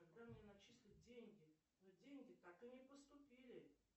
когда мне начислят деньги но деньги так и не поступили